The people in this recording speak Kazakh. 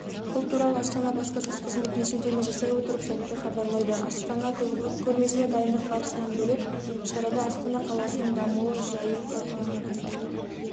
бұл туралы астана баспасөз қызметіне сілтеме жасай отырып сайты хабарлайды астана көрмесіне дайындық барысынан бөлек шарада астана қаласының дамуы жайы талқыланады